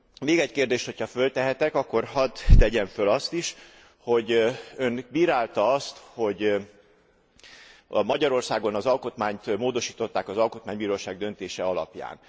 Még egy kérdést, hogyha föltehetek, akkor hadd tegyem föl azt is Ön bírálta azt, hogy Magyarországon az alkotmányt módosították az Alkotmánybíróság döntése alapján.